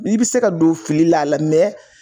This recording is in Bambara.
N'i bi se ka don fili la a la